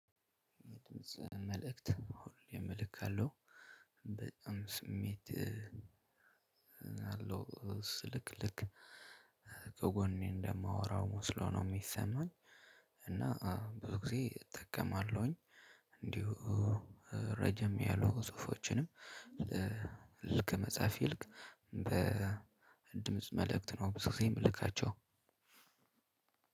መልእክት አሁን እኔም እልካለው በጣም ስሜት እ ስልክልክ ከጎኔ እንደማወራው መስሎ ነው የሚሰማኝ። እና ብዙ ጊዜ እጠቀማለሁኝ። እንዲሁ እ ረዘም ያሉ ጽሁፎችንም እ ል ልክ ከመጽሐፍ ይልቅ በድምጽ መልእክት ነው ብዙ ጊዜ የምልካቸው።